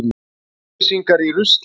Kjalnesingar í rusli